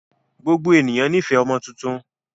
Gbogbo ènìyàn ní fẹ̀ ọmọ tuntun